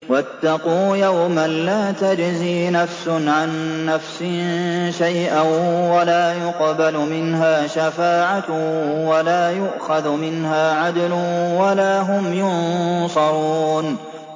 وَاتَّقُوا يَوْمًا لَّا تَجْزِي نَفْسٌ عَن نَّفْسٍ شَيْئًا وَلَا يُقْبَلُ مِنْهَا شَفَاعَةٌ وَلَا يُؤْخَذُ مِنْهَا عَدْلٌ وَلَا هُمْ يُنصَرُونَ